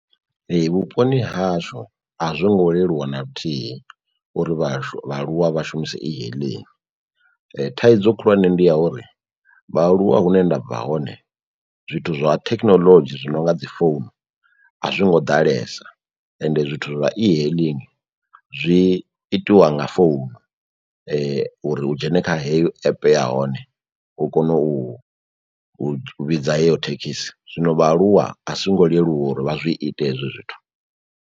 Ee vhuponi ha hashu a zwo ngo leluwa na luthihi uri vhahashu vhaaluwa vha shumise e-hailing. Thaidzo khulwane ndi ya uri vhaaluwa hune ndabva hone zwithu zwa thekhinoḽodzhi zwi no nga dzi founu a zwi ngo ḓalesa ende zwithu zwa e-hailing zwi itiwa nga founu uri u dzhene kha heyo app ya hone u kone u u vhidza heyo thekhisi, zwino vhaaluwa a zwo ngo leluwa uri vha zwi ite hezwo zwithu.